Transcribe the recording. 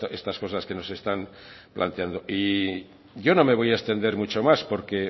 estas cosas que nos están planteando y yo no me voy a extender mucho más porque